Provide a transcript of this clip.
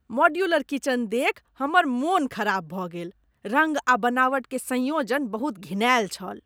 Modular kitchen देखि हमर मन खराब भऽ गेल। रङ्ग आ बनावट के संयोजन बहुत घिनायल छल।